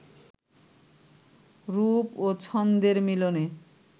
রূপ ও ছন্দের মিলনে